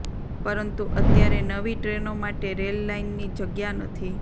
પરંતુ અત્યારે નવી ટ્રેનો માટે રેલ લાઈનની જગ્યા નથી